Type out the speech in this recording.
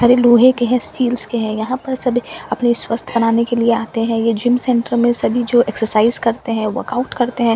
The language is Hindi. अरे लोहे के हैं स्टील्स के हैं यहाँ पर सभी अपने स्वास्थ बनाने के लिए आते है ये जिम सेंटर में सभी जो एक्सर्साइज़ करते हैं वर्काउट करते हैं --